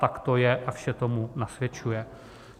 Tak to je a vše tomu nasvědčuje.